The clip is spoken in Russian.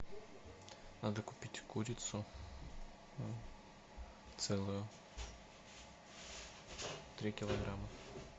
надо купить курицу целую три килограмма